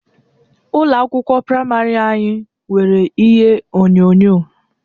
Ụlọ akwụkwọ praịmarị anyị nwere ihe onyonyo